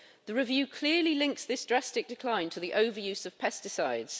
The review clearly links this drastic decline to the overuse of pesticides.